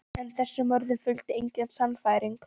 En þessum orðum fylgdi engin sannfæring.